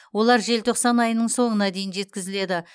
олар желтоқсан айының соңына дейін жеткізіледі